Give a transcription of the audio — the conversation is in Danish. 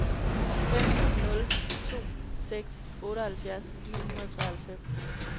fem nul to seks otteoghalvfjerds ni hundrede og treoghalvfems